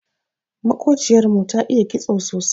Maƙociyar mu ta iya kitso sosai.